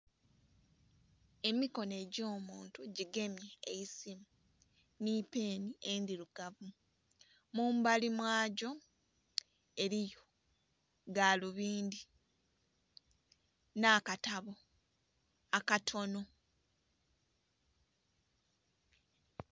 Emikono egyomuntu gigemye eisimu nipeni endhirugavu mumbali mwagyo eriyo galubindhi nakatabo akatono.